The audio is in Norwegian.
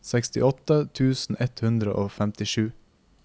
sekstiåtte tusen ett hundre og femtisju